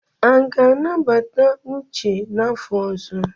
A ga-anabata Uche n'afọ ọzọ?